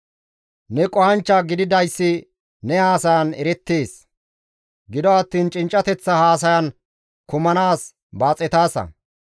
Ne qohanchcha gididayssi ne haasayan erettees; gido attiin cinccateththa haasayan kammanaas baaxetaasa.